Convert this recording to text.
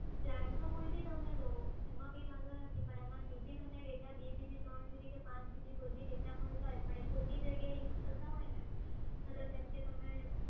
plan તો કોઈ બી તમે લો એમાં કોઈ વાંધો નથી પણ એમાં જે બી બે GB, ત્રણ GB કે પાંચ GB કોઈ બી data મળતા હોય અને એ ખોટી જગ્યાએ use થતાં હોય ને ભલે જેમ કે તમે